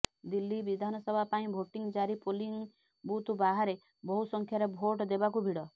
ଦିଲ୍ଲୀ ବିଧାନସଭା ପାଇଁ ଭୋଟିଂ ଜାରୀ ପୋଲିଂ ବୁଥ ବାହରେ ବହୁ ସଂଖ୍ୟାରେ ଭୋଟ ଦେବାକୁ ଭିଡ଼